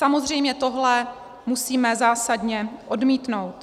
Samozřejmě tohle musíme zásadně odmítnout.